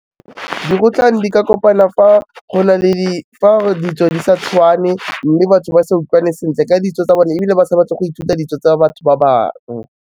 Dikgotlang di ka kopana fa go na le fa ditso di sa tshwane, mme batho ba sa utlwane sentle ka ditso tsa bone, ebile ba sa batle go ithuta ditso tsa batho ba bangwe.